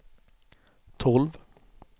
tolv